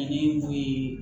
Ani mun ye